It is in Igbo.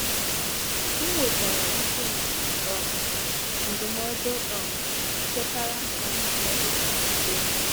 M nwetàrà íké na um ndụmọdụ um chetara m ka m duo uzo n'ebere.